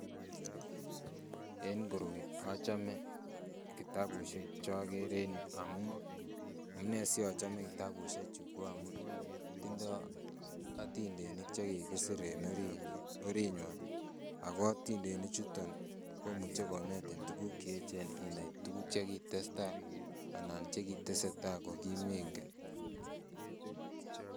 En koroi achome kitabushek chochome en yuu amun enee siochomee kitabushechu ko amun tindo atindenik chekikisir en oriinywan akoo atindenichuton komuche konetin tukuk cheechen Sinai tukuk chekitesta anan chekiteseta kokimengen.